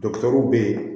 bɛ yen